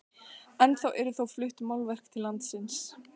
Ennþá eru þó flutt málverk til landsins.